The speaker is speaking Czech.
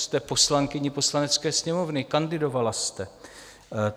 Jste poslankyní Poslanecké sněmovny, kandidovala jste.